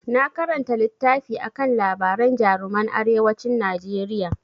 Na karanta littafi akan labaran jaruman arewacin Najeriya.